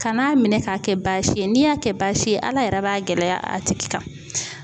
Kan'a minɛ k'a kɛ baasi ye, n'i y'a kɛ baasi ye; ala yɛrɛ b'a gɛlɛya a tigi kan.